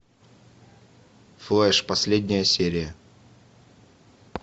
флэш последняя серия